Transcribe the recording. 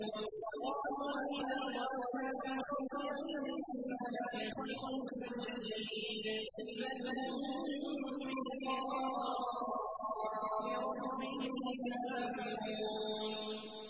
وَقَالُوا أَإِذَا ضَلَلْنَا فِي الْأَرْضِ أَإِنَّا لَفِي خَلْقٍ جَدِيدٍ ۚ بَلْ هُم بِلِقَاءِ رَبِّهِمْ كَافِرُونَ